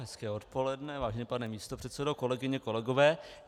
Hezké odpoledne, vážený pane místopředsedo, kolegyně, kolegové.